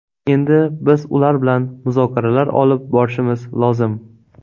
Endi biz ular bilan muzokaralar olib borishimiz lozim.